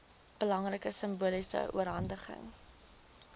belangrike simboliese oorhandiging